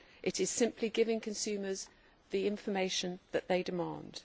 It is simply giving consumers the information that they demand.